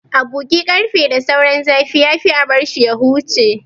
A bugi ƙarfe da sauran zafi, ya fi a bar shi ya huce.